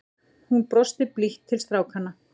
Hún brosti blítt til strákanna.